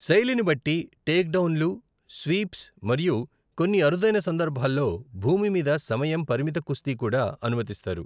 శైలిని బట్టి, టేక్ డౌన్లు, స్వీప్స్ మరియు కొన్ని అరుదైన సందర్భాల్లో భూమి మీద సమయం పరిమిత కుస్తీ కూడా అనుమతిస్తారు.